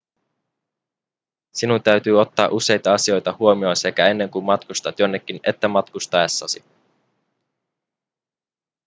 sinun täytyy ottaa useita asioita huomioon sekä ennen kuin matkustat jonnekin että matkustaessasi